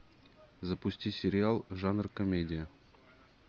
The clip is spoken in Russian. запусти сериал жанр комедия